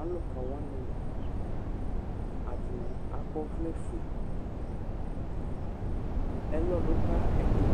aluka wani ɛdini akɔ ɔvlɛ fué ɛlɔ du ka ɛdi